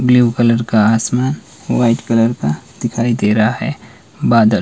Blue colour का आसमान white colour का दिखाई दे रहा है बादल।